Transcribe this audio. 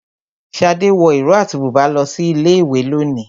Shade wọ ìró àti bùbá lọ sí ilé ìwé lónìí.